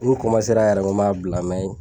N kun ra yɛrɛ n ko m'a bila